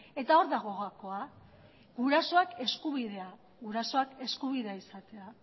eta hor dago gakoa gurasoak eskubidea gurasoak eskubidea izatea